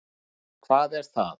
Valgeir: Hvað er það?